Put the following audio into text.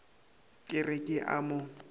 ke re ke a mo